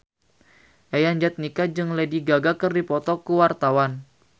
Yayan Jatnika jeung Lady Gaga keur dipoto ku wartawan